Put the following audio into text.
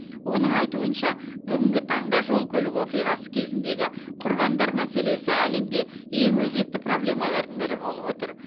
оның айтуынша бүгінгі таңда жол көлік оқиғасы кезіндегі құрбандар мәселесі әлемде ең өзекті проблемалардың бірі болып отыр